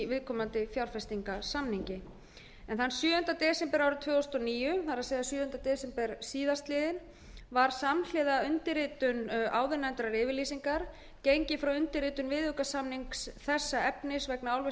viðkomandi fjárfestingarsamningi þann sjöunda desember árið tvö þúsund og níu var samhliða undirritun áðurnefndrar yfirlýsingar gengið frá undirritun viðaukasamnings þessa efnis vegna álversins í